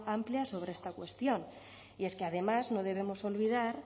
amplia sobre esta cuestión y es que además no debemos olvidar